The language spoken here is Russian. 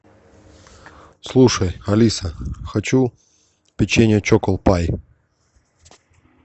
слушай алиса хочу печенье чокопай